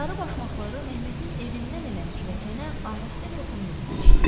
Sarı başmaqları Məhmətin evindən elə pilləkənə ahəstə toxunduğunu eşitdi.